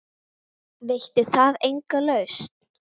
Veitti það enga lausn?